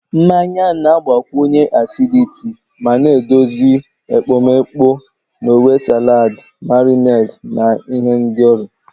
Mmanya na-agbakwụnye acidity ma na-edozi ekpomeekpo na uwe salad, marinades, na ihendori.